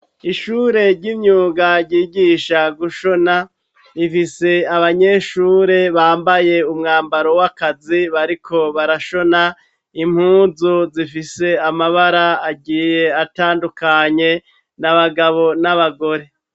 Ishure ry'imyuga ryigisha gushona rifise abanyeshure bambaye umwambaro wakazi bariko barashona, impuzu zifise amabara agiye atandukanye, n'abagabo n'abagore.